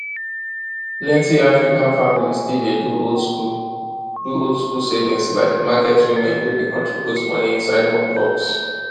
plenty african families still dey do oldschool do oldschool savings like market women wey dey contribute money inside one box